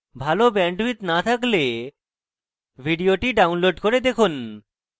ভাল bandwidth না থাকলে ভিডিওটি download করে দেখুন